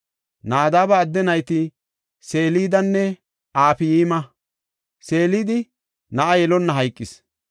Nadaaba adde nayti Selidanne Afayma; Selidi na7a yelonna hayqis.